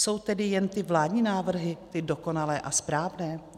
Jsou tedy jen ty vládní návrhy ty dokonalé a správné?